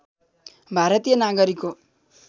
भारतीय नागरिक हो